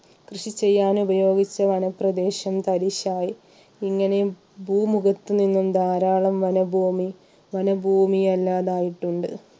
കൃഷി ചെയ്യാൻ ഉപയോഗിച്ച വനപ്രദേശം തരിശ് ആയി ഇങ്ങനെ പൂമുഖത്ത് നിന്നും ധാരാളം വനംഭൂമി വനംഭൂമി അല്ലാതായിട്ടുണ്ട്